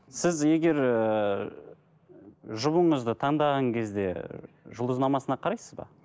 сіз егер ыыы жұбыңызды таңдаған кезде жұлдызнамасына қарайсыз ба